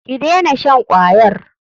Ki dena shan kwayar.